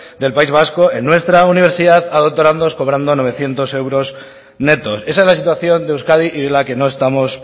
del país vasco en nuestra universidad a doctorandos cobrando novecientos euros netos esa es la situación de euskadi y de la que no estamos